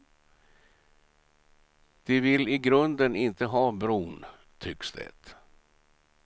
De vill i grunden inte ha bron, tycks det.